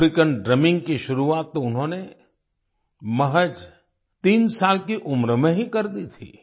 Afrikaans drumming की शुरुआत तो उन्होंने महज 3 साल की उम्र में ही कर दी थी